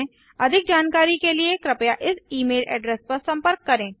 अधिक जानकारी के लिए कृपया इस ई मेल एड्रेस पर सम्पर्क करें